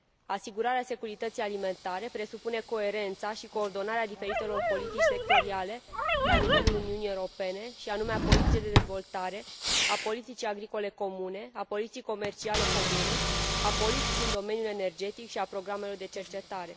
Asigurarea securității alimentare presupune coerența și coordonarea diferitelor politici sectoriale la nivelul Uniunii Europene, și anume a politicii de dezvoltare, a politicii agricole comune, a politicii comerciale comune, a politicii în domeniul energetic și a programelor de cercetare.